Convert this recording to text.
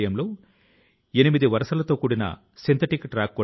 క్షణే నష్టే కుతో విద్యా కణే నష్టే కుతో ధనమ్